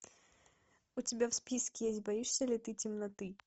у тебя в списке есть боишься ли ты темноты